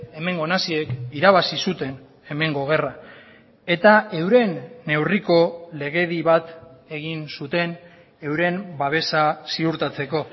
hemengo naziek irabazi zuten hemengo gerra eta euren neurriko legedi bat egin zuten euren babesa ziurtatzeko